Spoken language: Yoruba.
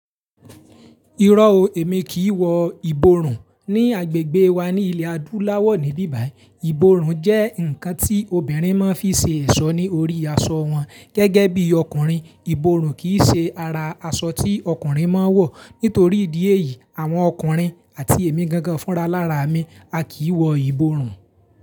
Irọ́ o, èmi kì í wọ ìborùn ní agbègbè wa ní ilẹ̀ adúláwọ̀ níbí báyìí. Ìborùn jẹ́ ǹkan tí obìnrin máa ń fi ṣe ẹ̀ṣọ́ ní orí aṣọ wọn. Gẹ́gẹ́ bí ọkùnrin, ìborùn kì í ṣe ara aṣọ tí ọkùnrin máa ń wọ̀. Nítorí ìdí èyí, àwọn ọkùnrin àti èmi gangan fúnra lára mi, a kì í wọ ìborùn.